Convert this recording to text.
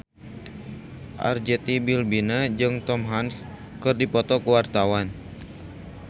Arzetti Bilbina jeung Tom Hanks keur dipoto ku wartawan